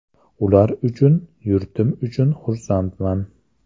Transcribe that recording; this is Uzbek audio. Ular uchun, yurtim uchun xursandman.